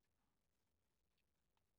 DR P3